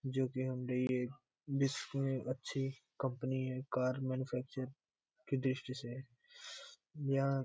विष्णु अच्छी कंपनी है car manufacture की दृष्टि से यहां --